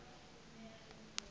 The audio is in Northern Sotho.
le bona ge o eya